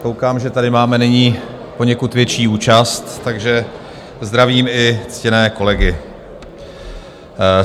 Koukám, že tady máme nyní poněkud větší účast, takže zdravím i ctěné kolegy.